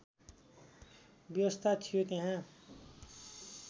व्यवस्था थियो त्यहाँ